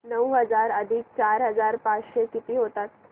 नऊ हजार अधिक चार हजार पाचशे किती होतील